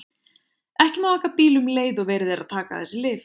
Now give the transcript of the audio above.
Ekki má aka bíl um leið og verið er að taka þessi lyf.